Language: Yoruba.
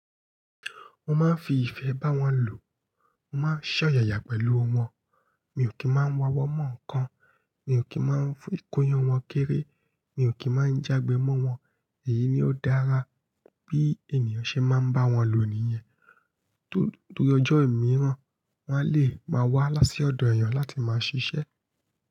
Mo máa ń fi ìfẹ́ bá wọn lò, mo má ń ṣòyàyà pẹ̀lú wọn, mi ò kí ń máa ń wa owọ́ mọ́ nǹkan, mi ò kí ń máa ń kó'yan wọn kéré, mi ò kí ń máa ń jágbe mọ́ wọn. Èyí ni ó dára bí ènìyàn ṣe máa ń bá wọn lò nìyẹn. Tó ri ojó imìràn, wọn a lè máa wá lá si ọ̀dọ̀ èèyàn láti máa ṣiṣẹ́.